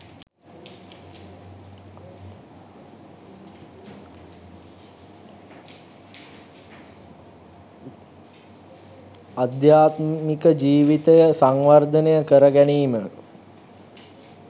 අධ්‍යාත්මික ජීවිතය සංවර්ධනය කර ගැනීම